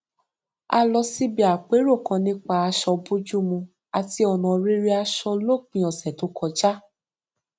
a lọ síbi àpérò kan nípa aṣọ bójúmu àti ọnà rere aṣọ lópin ọsẹ tó kọjá